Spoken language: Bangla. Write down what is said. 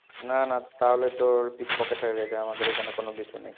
না, না, তাহলে তোর pickpocket হয়ে গেছে, আমাদের এখানে কোনো কিছু নেই।